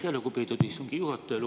Aitäh, lugupeetud istungi juhataja!